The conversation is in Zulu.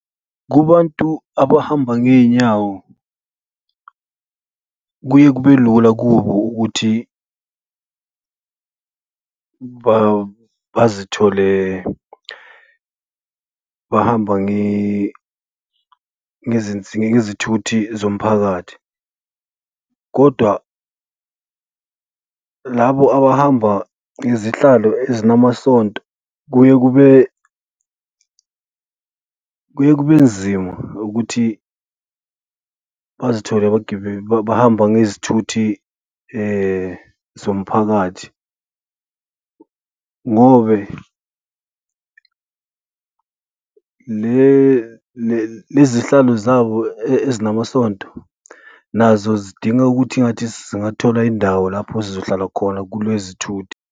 Kubantu abahamba ngey'nyawo kuye kube lula kubo ukuthi bazithole bahamba ngezithuthi zomphakathi kodwa labo abahamba ngezihlalo ezinamasonto kuye kube, kuye kube nzima ukuthi bazithole bahamba ngezithuthi zomphakathi ngobe lezihlalo zabo ezinamasonto nazo zidinga ukuthi ngathi zingathola indawo lapho zizohlala khona kulezithuthi.